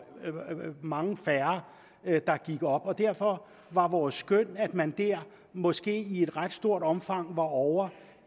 mange færre der gik op derfor var vores skøn at man dér måske i et ret stort omfang var ovre